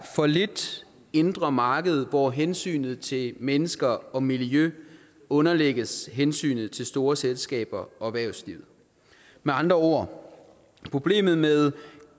for lidt indre marked hvor hensynet til mennesker og miljø underlægges hensynet til store selskaber og erhvervsliv med andre ord er problemet med